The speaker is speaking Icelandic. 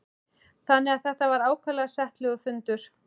Þannig að þetta var ákaflega settlegur fundur.